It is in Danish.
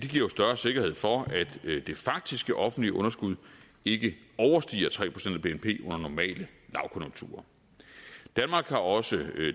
giver større sikkerhed for at det faktiske offentlige underskud ikke overstiger tre procent af bnp under normale lavkonjunkturer danmark har også